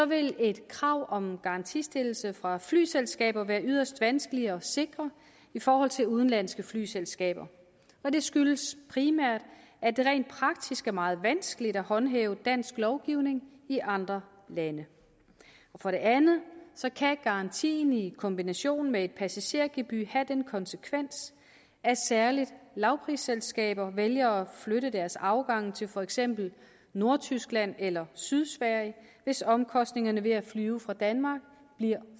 vil et krav om en garantistillelse fra flyselskaber være yderst vanskelig at sikre i forhold til udenlandske flyselskaber og det skyldes primært at det rent praktisk er meget vanskeligt at håndhæve dansk lovgivning i andre lande for det andet kan garantien i kombination med et passagergebyr have den konsekvens at særligt lavprisselskaber vælger at flytte deres afgange til for eksempel nordtyskland eller sydsverige hvis omkostningerne ved at flyve fra danmark bliver